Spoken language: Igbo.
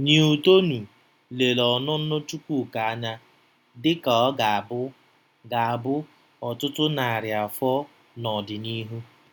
Newtonu lere ọnụnọ Chukwuka anya dị ka ọ ga-abụ ga-abụ ọtụtụ narị afọ n'ọdịnihu.